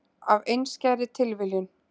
Af einskærri tilviljun.